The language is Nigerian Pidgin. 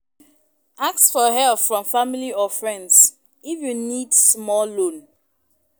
Ask for help from family or friends, if you need small loan.